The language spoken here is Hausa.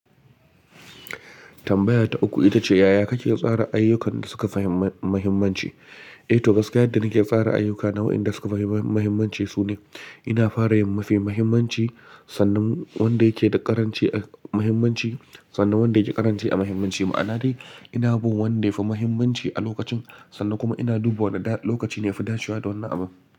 Tambaya ta uku ita ce, yaya kake tsara ayyukan da suka fahimmi mahimmanci? Eh toh gaskiya yadda nake fara ayyuka na wa'inda suka fahimmi mahimmanci su ne, ina fara da mafi mahimmanci sannan wanda yake da ƙaranci a mahimmanci sannan wanda yake ƙaranci a mahimmanci. Ma'ana dai ina bin wanda yafi mahimmanci a lokacin sannan kuma ina dubawa wane lokaci ne ya fi dacewa don wannan abun.